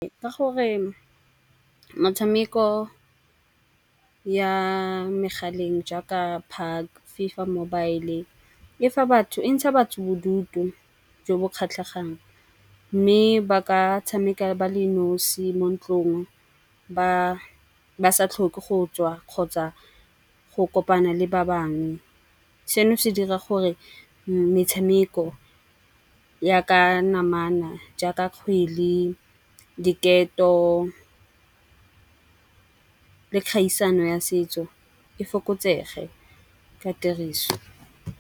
Ka gore motshameko ya megaleng jaaka FIFA Mobile e fa batho e ntsha batho bodutu jo bo kgatlhegang. Mme ba ka tshameka ba le nosi mo ntlong, ba sa tlhoke go tswa kgotsa go kopana le ba bangwe. Seno se dira gore metshameko ya ka namana jaaka kgwele, diketo le kgaisano ya setso e fokotsege ka tiriso.